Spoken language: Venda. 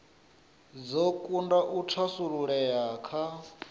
dzo kunda u thasululea kha